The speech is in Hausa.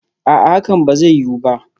A'a, hakan ba zai yiwu ba